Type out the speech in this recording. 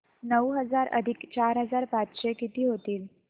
नऊ हजार अधिक चार हजार पाचशे किती होतील